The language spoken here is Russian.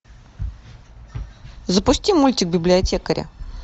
запусти мультик библиотекаря